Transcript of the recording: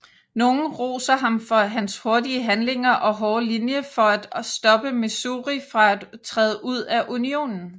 Nogle roser ham for hans hurtige handlinger og hårde linje for at stoppe Missouri fra at træde ud af Unionen